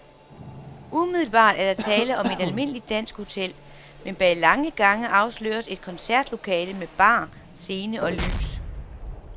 Umiddelbart er der tale om et almindeligt dansk hotel, men bag lange gange afsløres et koncertlokale med bar, scene og lys.